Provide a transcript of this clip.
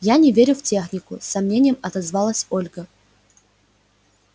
я не верю в технику с сомнением отозвалась ольга